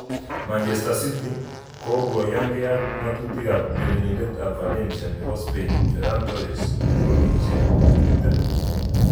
(Evening Standard) Manchester City kokoyanke ak ngatutik ab urerenindet ab Valencia nebo Spain Ferran Torres,20.